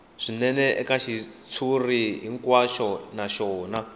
swinene eka xitshuriwa hinkwaxo naswona